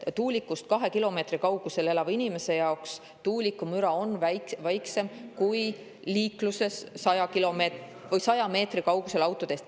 Tuulikust kahe kilomeetri kaugusel elava inimese jaoks on tuuliku müra väiksem kui liikluses 100 meetri kaugusel autoteest.